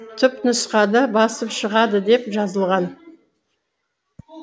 түпнұсқада басып шығады деп жазылған